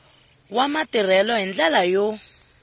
wa matirhelo hi ndlela yo